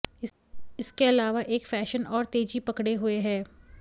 इसके अलावा एक फैशन और तेजी पकड़े हुए है